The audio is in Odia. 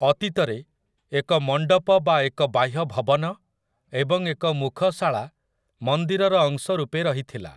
ଅତୀତରେ, ଏକ ମଣ୍ଡପ ବା ଏକ ବାହ୍ୟ ଭବନ ଏବଂ ଏକ ମୁଖଶାଳା ମନ୍ଦିରର ଅଂଶ ରୂପେ ରହିଥିଲା ।